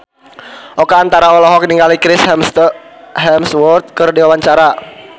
Oka Antara olohok ningali Chris Hemsworth keur diwawancara